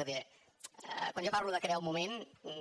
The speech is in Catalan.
és a dir quan jo parlo de crear un moment